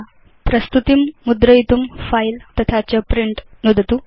भवत् प्रस्तुतिं मुद्रयितुं फिले तथा च प्रिंट नुदतु